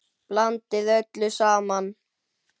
Blandið öllu saman.